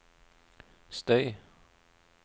støy